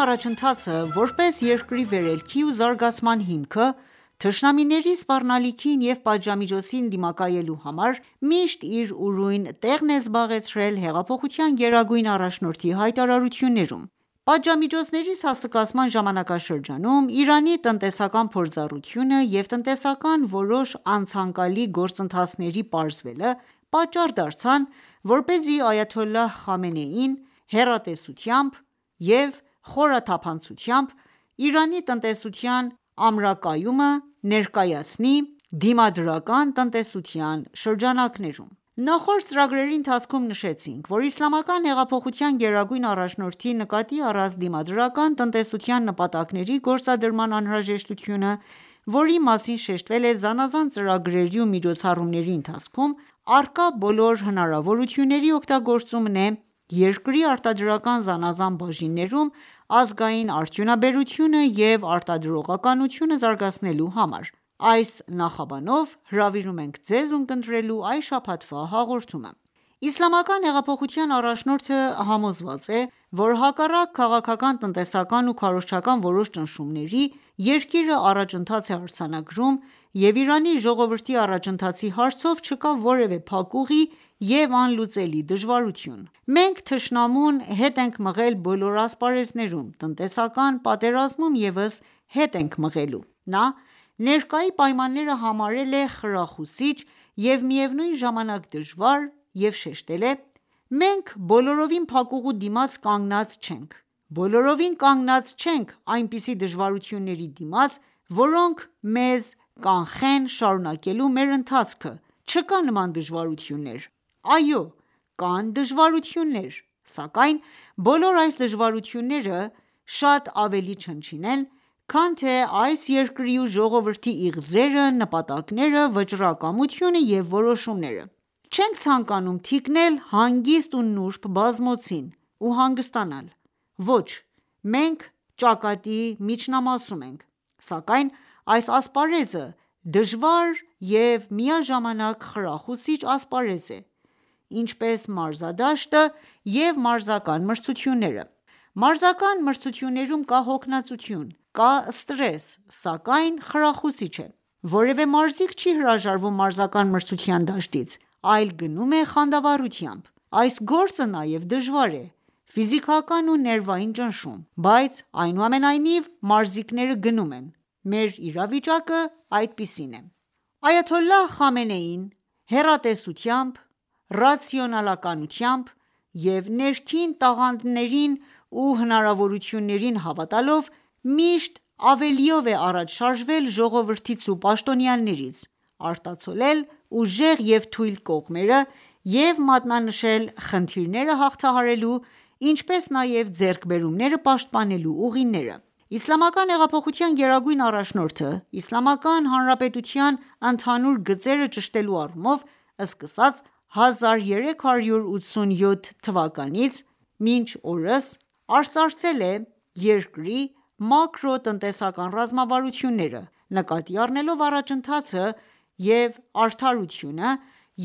առաջընթացը ,որպես երկրի վերելքի ու զարգացման հիմքը ,թշնամիների սպառնալիքին ու պատժամիջոցին դիմակայելու համար ,միշտ իր ուրույն տեղն է զբաղեցրել հեղափոխության գերագույն առաջնորդի հայտարարություններում: Պատժամիջոցների սաստկացման ժամանակաշրջանում Իրանի տնտեսական փորձառությունը և տնտեսական որոշ անցանկալի գործընթացների պարզվելը ,պատճառ դարձան ,որպեսզի այաթոլլահ Խամենեին հեռատեսությամբ և խորաթափանցությամբ ,Իրանի տնտեսության ամրակայումը ներկայացնի «Դիմադրական տնտեսության »շրջանակներում: Նախորդ ծրագրի ընթացքում նշեցինք ,որ Իսլամական հեղափոխության գերագույն առաջնորդի նկատի առած դիմադրական տնտեսության նպատակների գործադրման անհրաժեշտությունը ,որի մասին շեշտվել է զանազան ծրագրերի ու միջոցառումների ընթացքում ,առկա բոլոր հնարավորությունների օգտագործումն է՝ երկրի արտադրական զանազան բաժիններում ազգային արդյունաբերությունը և արտադրողականությունը զարգացնելու համար: Աս նախաբանով հրավիրում ենք Ձեզ ունկնդրելու այս շաբաթվա հաղորդումը: Իսլամական հեղափոխության առաջնորդը համոզված է ,որ հակառակ քաղաքական, տնտեսական ու քարոզչական որոշ ճնշումների ,երկիրը առաջընթաց է արձանագրում և Իրանի ժողովրդի առաջընթացի հարցով չկա որևե փակուղի և անլուծելի դժվարություն: «Մենք թշնամուն, հետ ենք մղել բոլոր ասպարեզներում, տնտեսական պատերազմում ևս հետ ենք մղելու»: Նա ,ներկայի պայմանները համարել է խրախուսիչ և միևնույն ժամանակ դժվար և շեշտել է.«Մենք բոլորովին փակուղու դիմաց կանգնած չենք, բոլորովին կանգնած չենք այնպիսի դժվարությունների դիմաց ,որոնք մեզ կանխեն շարունակելու մեր ընթացքը ,չկան նման դժվարություններ :Այո կան դժվարություններ, սակայն բոլոր այս դժվարությունները ,շատ ավելի չնչին են քան թե այս երկրի ու ժողովրդի իղձերը, նպատակները, վճռակամությունը և որոշումները: Չենք ցանկանում թիկնել հանգիստ ու նուրդ բազմոցին ու հանգստանալ ,ոչ, մենք ճակատի միջնամասում ենք ,սակայն այս ասպարեզը դժվար և միաժամանակ խրախուսիչ ասպարեզ է ,Ինչպես մարզադաշտը և մարզական մրցությունները: Մարզական մրցություններում կա հոգնածություն ,կա ստրես ,սակայն խրախուսիչ է: Որևե մարզիկ չի հրաժարվում մարզական մրցության դաշտից ,այլ գնում է խանդավառությամբ: Այս գործը նաև դժվար է ,ֆիզիքական ու ներվային ճնշում, բայց անուամենայնիվ մարզիկները գնում են :Մեր իրավիճակը այդպիսին է»: Այաթոլլահ Խամենեին հեռատեսությամբ, ռացիոնալությամբ և ներքին տաղանդներին ու հնարավորություններին հավատալով միշտ ավելիով է առաջ շարժվել ժողովրդից ու պաշտոնյաներից, արտացոլել ուժեղ և թույլ կողմերը և մատնանշել խնդիրները հաղթահարելու, ինչպես նաև ձեռքբերումները պաշտպանելու ուղիները։ Իսլամական հեղափոխության գերագույն առաջնորդը, Իսլամական Հանրապետության ընդհանուր գծերը ճշտելու առումով, սկսած 1387-ից (1998) մինչ օրս ,արծարծել է երկրի մակրոտնտեսական ռազմավարությունները ,նկատի առնելով առաջընթացը և արդարությունը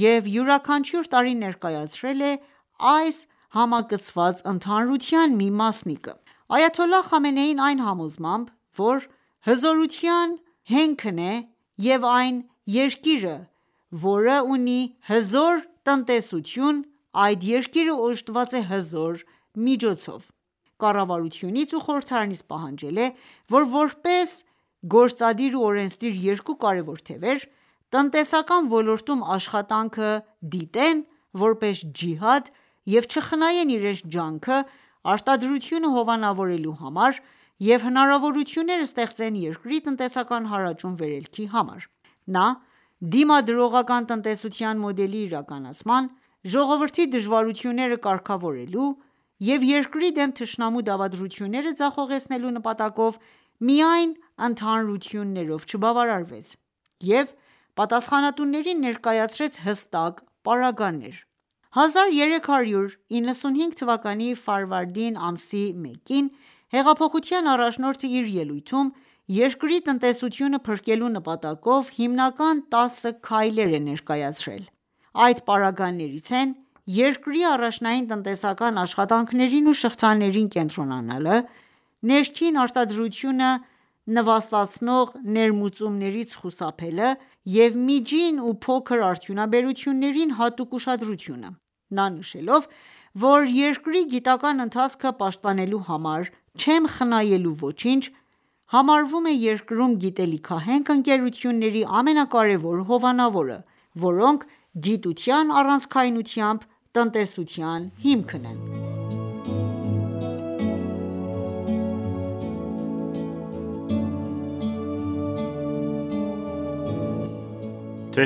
և յուրաքանչյուր տարի ներկայացրել է այս համակցված ընդհանրության մի մասնիկը :Այաթոլլահ Խամենեին այն համոզմամբ ,որ «,հզորության հենքն է և այն երկիրը ,որը ունի հզոր տնտեսություն ,այդ երկիրը օժտված է հզոր միջոցով»,կառավարությունից ու խորհրդարանից պահանջել է ,որ որպես գործադիր ու օրենսդիր երկու կարևոր թևեր, տնտեսական ոլորտում աշխատանքը դիտեն ,որպես ջիհադ և չխնայեն իրենց ջանքը արտադրությունը հովանավորելու համար և հնարավորություններ ստեղծեն երկրի տնտեսական հարաճուն վերելքի համար: Նա ,դիմադրողական տնտեսության մոդելի իրականացման ,ժողովրդի դժվարությունները կարգավորելու և երկրի դեմ թշնամու դավադրությունները ձախողեցնելու նպատակով միայն ընդհանրություններով չբավարարվեց և պատասխանատուներին ներկայացրեց՝հստակ պարագաներ: 1395 թվականի ֆարվարդին ամսի մեկին հեղափոխության առաջնորդը իր ելույթում ,«երկրի տնտեսությունը փրկելու նպատակով հիմնական 10 քայլեր»է ներկայացրել: Այդ պարագաներից են՝երկրի առաջնային տնտեսական աշխատանքներին ու շղթաներին կենտրոնանալը, ներքի արտադրությունը նվաստացնող ներմուծումներից խուսափելը և միջին ու փոքր արդյունաբերություններին հատուկ ուշադրությունը: Նա նշելով, որ.«Երկրի գիտական ընթացքը պաշտպանելու համար չեմ խնայելու ոչինչ»,համարվում է երկրում գիտելիքահենք ընկերությունների ամենակարևոր հովանավորը, որոնք գիտության առանցքայնությամբ տնտեսության հիմքն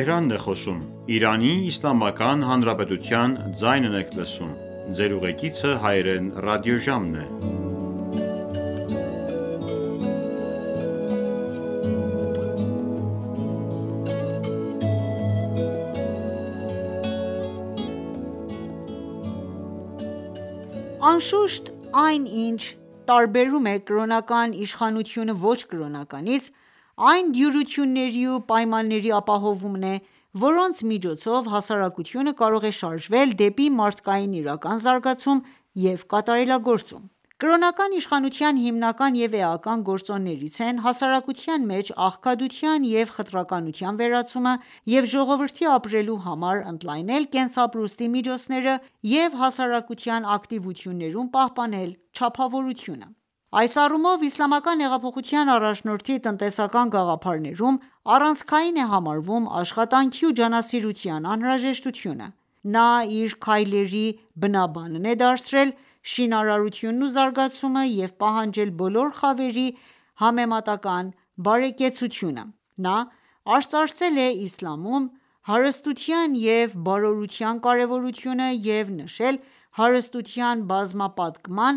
են: Անշուշտ, այն, ինչ տարբերում է կրոնական իշխանությունը ոչ կրոնականից, այն դյուրությունների ու պայմանների ապահովումն է, որոնց միջոցով հասարակությունը կարող է շարժվել դեպի մարդկային իրական զարգացում ու կատարելագործում:Կրոնական իշխանության հիմնական և էական գործոններից են՝ հասարակության մեջ աղքատության և խտրականության վերացումը և ժողովրդի ապրելու համար ընդլայնել կենսապրուստի միջոցները և հասարակության ակտիվություններում պահպանել չափավորությունը:Այս առումով ,Իսլամական հեղափոխության առաջնորդի տնտեսական գաղափարներում առանցքային է համարվում՝աշխատանքի ու ջանասիրության անհրաժեշտությունը: Նա իր քայլերի բնաբանն է դարձրել շինարարությունն ու զարգացումը և պահանջել բոլոր խավերի համեմատական բարեկեցությունը:Նա արծարծել է Իսլամում, հարստության և բարորության կարևորությունը և նշել հարստության բազմապատկման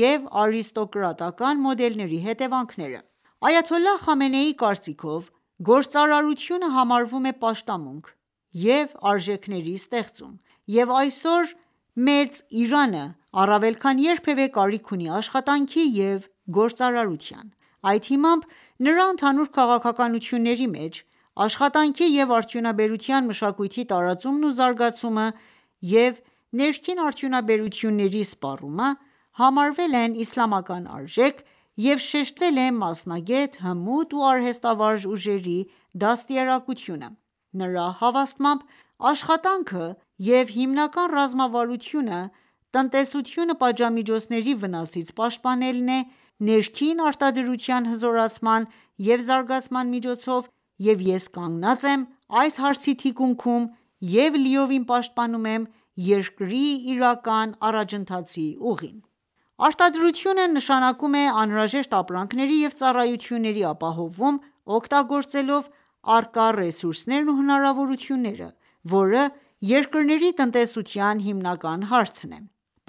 և արիստոկրատական ​​մոդելների հետևանքները:Այաթոլլահ Խամենեիի կարծիքով՝ գործարարությունը համարվում է պաշտամունք և արժեքների ստեղծում, և այսօր մեծ Իրանը առավել քան երբևե կարիք ունի աշխատանքի և գործարարության: Այդ հիմամբ ,նրա ընդհանուր քաղաքականությունների մեջ ,աշխատաքնի և արդյունաբերության մշակույթի տարածումն ու զարգացումը և ներքին արդյունաբերությունների սպառումը համարվել են Իսլամական արժեք և շեշտվել է մասնագետ, հմուտ ու արհեստավարժ ուժերի դաստիարակությունը: Նրա հավաստմամբ.«Աշխատանքը և հիմնական ռազմավարությունը՝ տնտեսությունը պատժամիջոցների վնասից պաշտպանելն է՝ ներքին արտադրության հզորացման և զարգացման միջոցով և ես կանգնած եմ այս հարցի թիկունքում և լիովին պաշտպանում եմ երկրի իրական առաջընթացի ուղին»: Արտադրությունը նշանակում է անհրաժեշտ ապրանքների և ծառայությունների ապահովում, օգտագործելով՝ առկա ռեսուրսներն ու հնարավորությունները ,որը երկրների տնտեսության հիմնական հարցն է: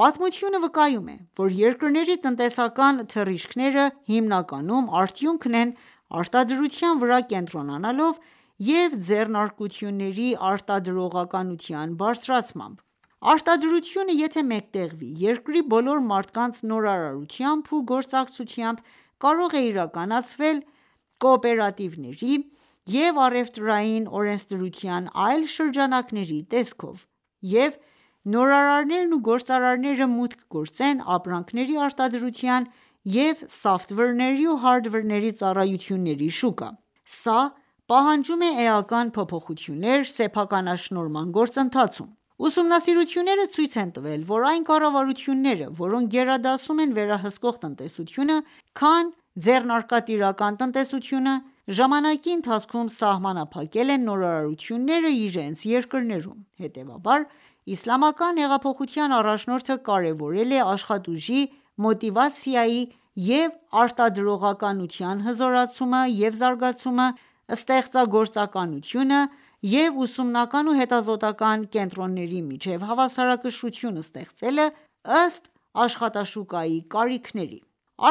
Պատմությունը վկայում է ,որ երկրների տնտեսական թռիչքները ,հիմնականում արդյունքն են ՝արտադրության վրա կենտրոնանալով և ձեռնարկությունների արտադրողականության բարձրացմամբ։ Արտադրությունը եթե մեկտեղվի երկրի բոլոր մարդկանց նորարարությամբ ու գործակցությամբ ,կարող է իրականացվել կոոպերատիվների և առևտրային օրենսդրության այլ շրջանակների տեսքով, և նորարարներն ու գործարարները մուտք գործեն ապրանքների արտադրության .և սավթվերների ու հարդվերների ծառայությունների շուկա:Սա պահանջում է էական փոփոխություններ սեփականաշնորհման գործընթացում։ Ուսումնասիրությունները ցույց են տվել, որ այն կառավարությունները, որոնք գերադասում են վերահսկվող տնտեսությունը, քան ձեռնարկատիրական տնտեսությանը ,ժամանակի ընթացքում սահմանափակել են նորարարությունները իրենց երկրներում:Հետևաբար, Իսլամական հեղափոխության առաջնորդը կարևորել է աշխատուժի մոտիվացիայի և արտադրողականության հզորացումը և զարգացումը, ստեղծագործականությունը և ուսումնական ու հետազոտական ​​կենտրոնների միջև հավասարակշռություն ստեղծելը, ըստ՝ աշխատաշուկայի կարիքների: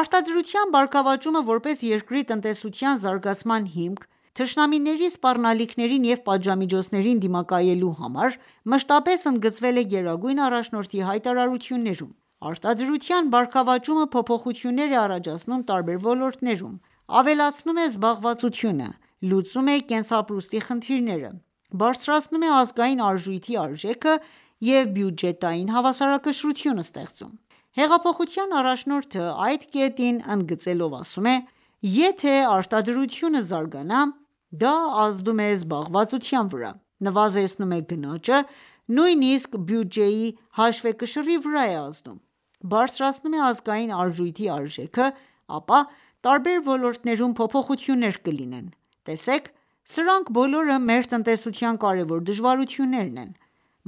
Արտադրության բարգավաճումը որպես երկրի տնտեսության զարգացման հիմք՝ թշնամիների սպառնալիքներին և պատժամիջոցներին դիմակայելու համար, մշտապես ընդգծվել է Գերագույն առաջնորդի հայտարարություններում:Արտադրության բարգավաճումը փոփոխություններ է առաջացնում տարբեր ոլորտներում, ավելացնում է զբաղվածությունը, լուծում է կենսապրուստի խնդիրները, բարձրացնում է ազգային արժույթի արժեքը և բյուջետային հավասարակշռություն ստեղծում: Հեղափոխության առաջնորդը այդ կետին ընդգծելով ասում է.«Եթե ​​արտադրությունը զարգանա, դա ազդում է զբաղվածության վրա, նվազեցնում է գնաճը, նույնիսկ բյուջեի հաշվեկշռի վրա է ազդում, բարձրացնում է ազգային արժույթի արժեքը, ապա տարբեր ոլորտներում փոփոխություններ կլինեն: Տեսեք, սրանք բոլորը մեր տնտեսության կարևոր դժվարություններն են: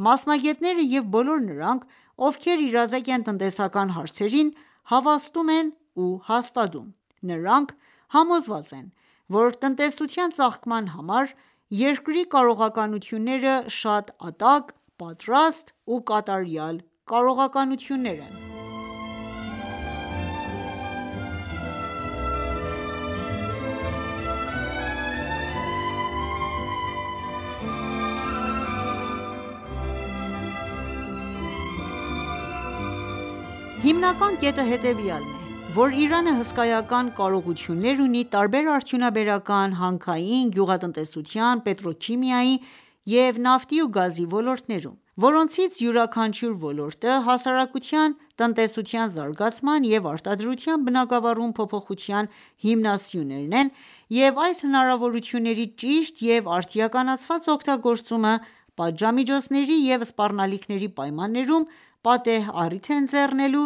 Մասնագետները և բոլոր նրանք ,ովքեր իրազեկ են տնտեսական հարցերին, հավաստում են ու հաստատում: (Նրանք)համոզված են ,որ տնտեսության ծաղկման համար երկրի կարողականությունները ,շատ ատակ ,պատրաստ ու կատարյալ կարողականություններ են»: Հիմնական կետն հետևեալն է, որ Իրանը հսկայական կարողություններ ունի տարբեր արդյունաբերական, հանքային, գյուղատնտեսության, պետրոքիմիայի եւ նավթի ու գազի ոլորտներում ,որոնցից յուրաքանչյուր ոլորտը, հասարակության տնտեսության զարգացման և արտադրության բնագավառում փոփոխության հիմնասյուներն են և այս հնարավորությունների ճիշտ և արդիականացված օգտագործումը ՝պատժամիջոցների և սպառնալիքների պայմաններում պատեհ առիթ է ընձեռնելու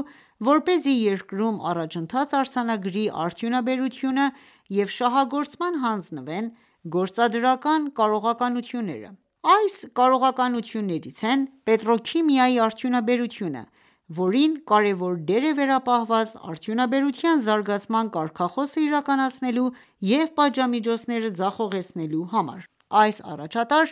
,որպեսզի երկրում առաջընթաց արձանագրի արդյունաբերությունը և շահագործման հանձնվեն գործադրական կարողականությունները: Այս կարողականություններից են՝ պետրոքիմիայի արդյունաբերությունը ,որին կարևոր դեր է վերապահված արդյունաբերության զարգացման կարգախոսը իրականացնելու եւ պատժամիջոցները ձախողեցնելու համար:Այս առաջատար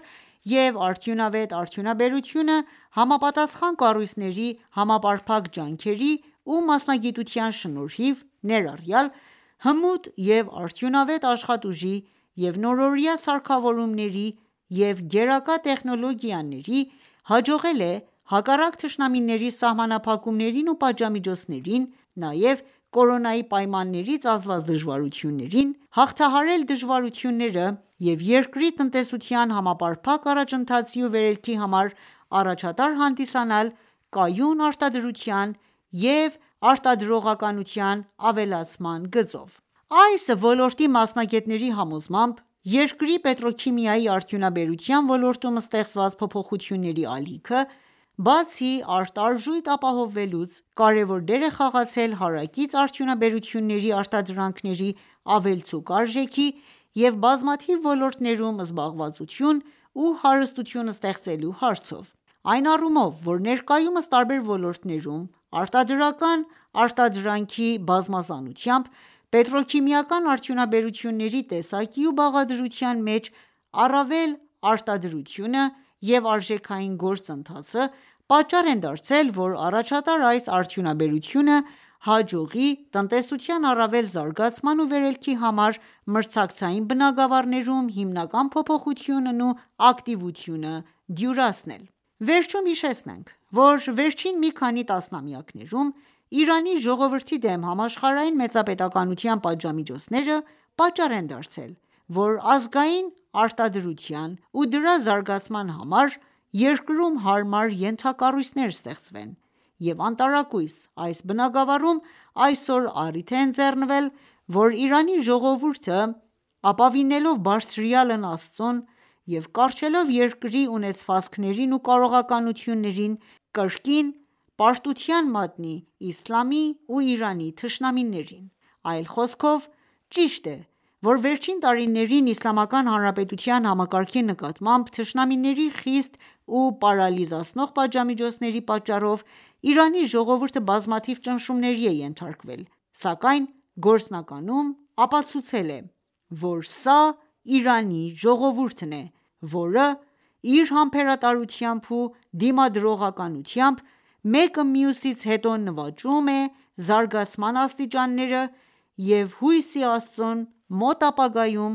եւ արդյունավետ արդյունաբերությունը համապատասխան կառույցների համապարփակ ջանքերի ու մասնագիտության շնորհիվ ներառյալ ՝հմուտ եւ արդյունավետ աշխատուժի եւ նորօրյա սարքավորումների և գերակա տեխնոլոգիաների, հաջողել է հակառակ թշնամիների սահամանփակումներին ու պատժամիջոցներին ,նաև կորոնայի պայմաններից ազդված դժվարություններին ,հաղթահարել դժվարությունները և երկրի տնտեսության համապարփակ առաջընթացի ու վերելքի համար առաջատար հանդիսանալ կայուն արտադրության և արտադրության ավելացման գծով: Այս ոլորտի մասնագետների համոզմամբ, երկրի պետրոքիմիայի արդյունաբերության ոլորտում ստեղծված փոփոխությունների ալիքը, բացի արտարժույթ ապահովելուց ,կարևոր դեր է խաղացել հարակից արդյունաբերությունների արտադրանքների ավելցուկ արժեքի և բազմաթիվ ոլորտներում զբաղվածություն ու ,հարստություն ստեղծելու հարցով: Այն առումով ,որ ներկայումս տարբեր ոլորտներում արտադրական արտադրանքի բազմազանությամբ ,պետրոքիմիական արդյունաբերությունների տեսակի ու բաղադրության մեջ առավել արտադրությունը և արժեքային գործընթացը ,պատճառ են դարձել ,որ առաջատար այս արդյունաբերությունը հաջողի տնտեսության առավել զարգացման ու վերելքի համար մրցակցային բնագավառներում հիմնական փոփոխությունը ու ակտիվությունը դյուրացնել: Վերջում հիշեցնենք, որ վերջին մի քանի տասնամյակներում ,Իրանի ժողովրդի դեմ համաշխարհային մեծապետականության պատժամիջոցները ,պատճառ են դարձել ,որ ազգային արտադրության ու դրա զարգացման համար երկրում հարմար ենթակառույցներ ստեղծվեն և անտարակույս այս բնագավառում ,այսօր առիթ է ընձեռնվել ,որ Իրանի ժողովուրդը ապավինելով բարձրյալն Աստծուն և կառչելով երկրի ունեցվածքներին ու կարողականություններին ,կրկին պարտության մատնել Իսլամի ու Իրանի թշնամիներին: Այլ խոսքով, ճիշտ է ,որ վերջին տարիներին Իսլամական հանարպետության համակարգի նկատմամբ թշնամիների խիստ ու պարալիզացնող պատժամիջոցների պատճառով ,Իրանի ժողովուրդը բազմաթիվ ճնշումների է ենթարկվել ,սակայն գործնականում ապացուցել է,որ սա Իրանի ժողովուրդն է ,որը իր համբերատարությամբ ու դիմադրողականությամբ ,մեկը մյուսից հետո նվաճում է զարգացման աստիճանները և հույս ի Աստծուն մոտ ապագայում